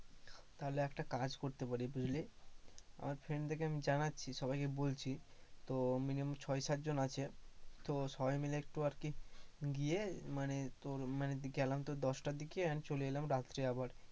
তাহলে একটা কাজ করতে পারি বুঝলি, আমার friend দেরকে আমি জানাচ্ছি, সবাইকে বলছি, ত minimum ছয় সাত জন আছে, তো সবাই মিলে একটু আর কি গিয়ে মানে তোর মানে গেলাম তোর দশটার দিকে and চলে এলাম রাত্রে আবার।